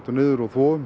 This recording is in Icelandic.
niður og